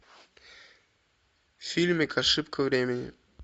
фильмик ошибка времени